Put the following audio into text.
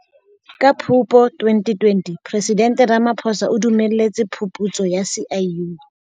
Ka Phupu 2020, Presidente Ramaphosa o dumelletse phuputso ya SIU.